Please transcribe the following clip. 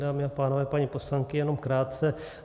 Dámy a pánové, paní poslankyně, jenom krátce.